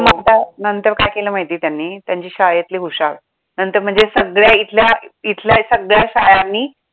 मग काय आता नंतर काय केलं माहिती त्यांनी त्यांची शाळेतली हुशार नंतर म्हणजे सगळ्या इथल्या, इथल्या सगळ्या शाळांनी